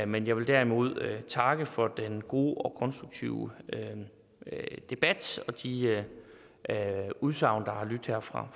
men jeg vil derimod takke for den gode og konstruktive debat og de udsagn der har lydt her fra